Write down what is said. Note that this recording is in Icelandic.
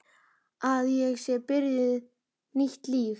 Að ég sé byrjuð nýtt líf.